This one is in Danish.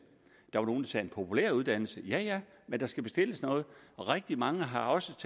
der var nogle der sagde en populær uddannelse ja ja men der skal bestilles noget rigtig mange har også